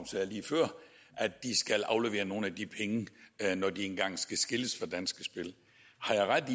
at de skal aflevere nogle af de penge når de engang skal skilles fra danske spil har jeg ret